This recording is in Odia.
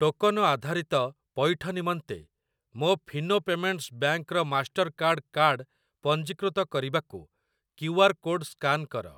ଟୋକନ ଆଧାରିତ ପଇଠ ନିମନ୍ତେ, ମୋ ଫିନୋ ପେମେଣ୍ଟ୍ସ୍ ବ୍ୟାଙ୍କ୍‌ ର ମାଷ୍ଟର୍‌କାର୍ଡ଼୍ କାର୍ଡ଼ ପଞ୍ଜୀକୃତ କରିବାକୁ କ୍ୟୁ ଆର୍ କୋଡ ସ୍କାନ କର।